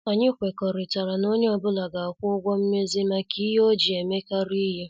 Anyị kwekọrịtara na onye ọ bụla ga- akwụ ụgwọ mmezi maka ihe ọ ji emekari ihe.